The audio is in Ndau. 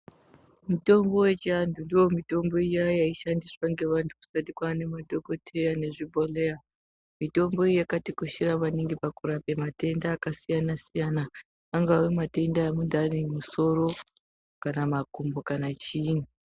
Mitombo yechivanhu ndiyo mitombo iya yaishandiswa ngevandu kusati kwave nemadhokoteya nezvibhohleya. Mitombo iyi yakatikoshera maningi pakurapa matenda ajasiyana-siyana, angave matenda emundu ane musoro kana makumbo kana chiini.